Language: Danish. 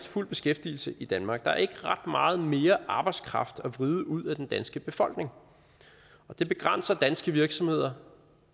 fuld beskæftigelse i danmark der er ikke ret meget mere arbejdskraft at vride ud af den danske befolkning og det begrænser danske virksomheder